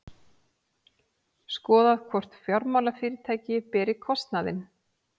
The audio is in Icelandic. Skoðað hvort fjármálafyrirtæki beri kostnaðinn